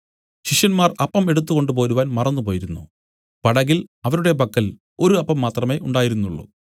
ശിഷ്യന്മാർ അപ്പം എടുത്തുകൊണ്ടുപോരുവാൻ മറന്നുപോയിരുന്നു പടകിൽ അവരുടെ പക്കൽ ഒരു അപ്പം മാത്രമേ ഉണ്ടായിരുന്നുള്ളു